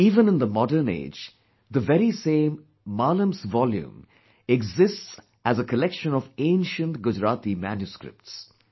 Even in the modern age, the very same "Maalam's volume' exists as a collection of ancient Gujarati manuscripts